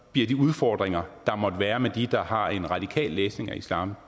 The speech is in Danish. bliver de udfordringer der måtte være med dem der har en radikal læsning af islam